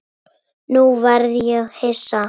Nú verð ég hissa.